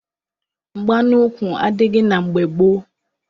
Mgba n'ukwu adịghị na mgbe gboo.